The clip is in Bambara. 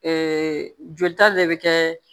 jolita de bɛ kɛ